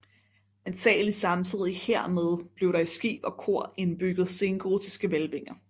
Antagelig samtidig hermed blev der i skib og kor indbygget sengotiske hvælvinger